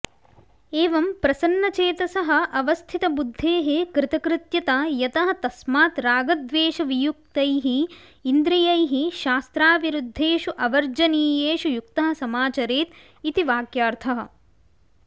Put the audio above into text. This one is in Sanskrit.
एवं प्रसन्नचेतसः अवस्थितबुद्धेः कृतकृत्यता यतः तस्मात् रागद्वेषवियुक्तैः इन्द्रियैः शास्त्राविरुद्धेषु अवर्जनीयेषु युक्तः समाचरेत् इति वाक्यार्थः